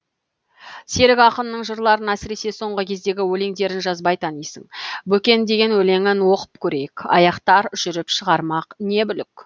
серік ақынның жырларын әсіресе соңғы кездегі өлеңдерін жазбай танисың бөкен деген өлеңін оқып көрейік аяқтар жүріп шығармақ не бүлік